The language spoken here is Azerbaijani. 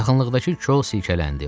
Yaxınlıqdakı kol silkələndi.